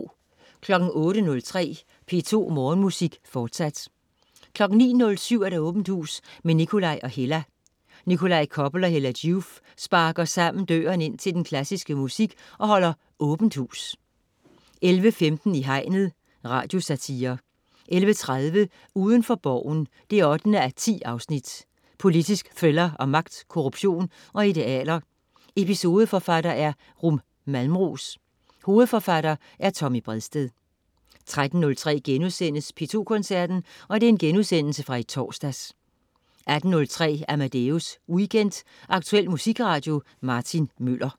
08.03 P2 Morgenmusik, fortsat 09.07 Åbent hus med Nikolaj og Hella. Nikolaj Koppel og Hella Joof sparker sammen døren ind til den klassiske musik og holder Åbent hus 11.15 I hegnet. Radiosatire 11.30 Udenfor Borgen 8:10. Politisk thriller om magt, korruption og idealer. Episodeforfatter: Rum Malmros. Hovedforfatter: Tommy Bredsted 13.03 P2 Koncerten.* Genudsendelse fra i torsdags 16.03 Amadeus Weekend. Aktuel musikradio. Martin Møller